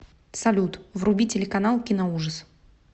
салют вруби телеканал киноужас